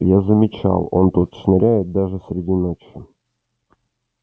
я замечал он тут шныряет даже среди ночи